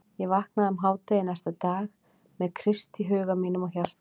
Ég vaknaði um hádegi næsta dag með Krist í huga mínum og hjarta.